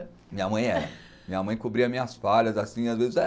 Minha mãe é. Minha mãe cobria minhas falhas, assim, às vezes.